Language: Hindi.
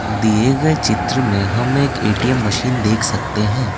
दिए गए चित्र में हम एक ए_टी_एम मशीन देख सकते हैं ।